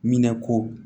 Minɛ ko